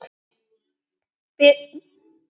Brýtur sjó á breiðum herðum.